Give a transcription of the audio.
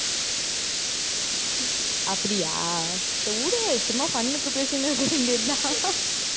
அப்படியா சரி விடு சும்மா fun க்கு பேசிட்டு இருக்க வேண்டியதுதான்